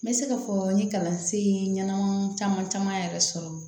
N bɛ se ka fɔ n ye kalansen ɲɛnama caman caman yɛrɛ sɔrɔ